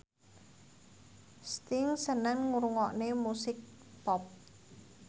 Sting seneng ngrungokne musik pop